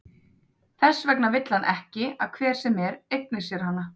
Þess vegna vill hann ekki að hver sem er eigni sér hana.